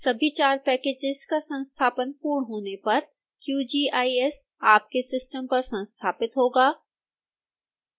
सभी चार पैकेजेस का संस्थापन पूर्ण होने पर qgis आपके सिस्टम पर संस्थापित होगा